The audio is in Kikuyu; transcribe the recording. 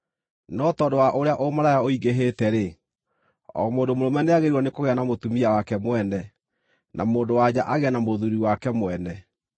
No tondũ wa ũrĩa ũmaraya ũingĩhĩte-rĩ, o mũndũ mũrũme nĩagĩrĩirwo nĩ kũgĩa na mũtumia wake mwene, na mũndũ-wa-nja agĩe na mũthuuri wake mwene.